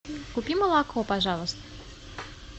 купи молоко пожалуйста